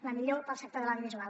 la millor pel sector de l’audiovisual